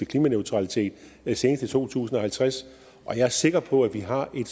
klimaneutralitet senest i to tusind og halvtreds jeg er sikker på at vi har en